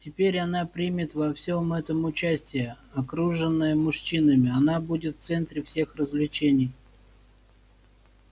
теперь она примет во всём этом участие окружённая мужчинами она будет в центре всех развлечений